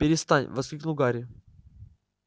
перестань воскликнул гарри